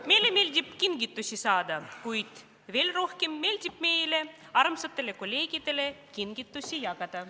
Meile meeldib kingitusi saada, kuid veel rohkem meeldib meile armsatele kolleegidele kingitusi jagada.